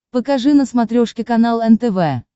покажи на смотрешке канал нтв